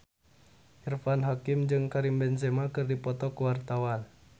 Irfan Hakim jeung Karim Benzema keur dipoto ku wartawan